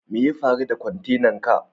Me ya faru da kwantenan ka?